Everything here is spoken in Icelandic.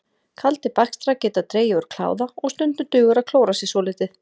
Kaldir bakstrar geta dregið úr kláða og stundum dugar að klóra sér svolítið.